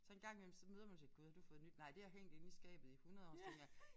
Så en gang imellem så møder man tænker gud har du fået nyt nej det har hængt inde i skabe i 100 år så tænker jeg